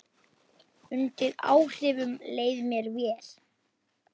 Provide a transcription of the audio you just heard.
Undir áhrifum leið mér vel.